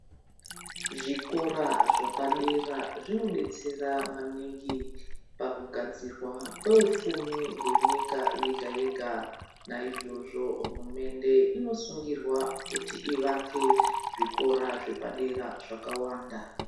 Zvikora zvapadera zvinodetsera maningi pakugadzirwa kweufumi hwenyika yega-yega .Naizvozvo hurumende inosungirwa kuti ivake zvikora zvepadera zvakawanda.